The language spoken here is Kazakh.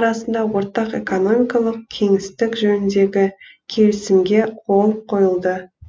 арасында ортақ экономикалық кеңістік жөніндегі келісімге қол қойылды